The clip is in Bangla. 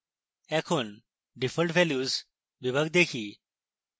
এখন default values বিভাগ দেখি